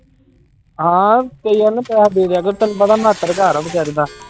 ਹਾਂ ਕਈ ਵਾਰ ਨਾ ਪੈਸਾ ਦੇ ਦਿਆ ਕਰੋ ਤੈਨੂੰ ਪਤਾ ਘਰ ਆ ਬੇਚਾਰੇ ਦਾ।